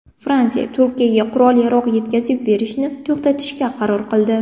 Fransiya Turkiyaga qurol-yarog‘ yetkazib berishni to‘xtatishga qaror qildi.